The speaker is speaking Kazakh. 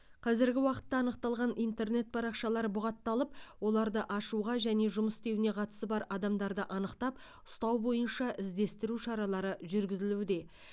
қазіргі уақытта анықталған интернет парақшалар бұғатталып оларды ашуға және жұмыс істеуіне қатысы бар адамдарды анықтап ұстау бойынша іздестіру шаралары жүргізілуде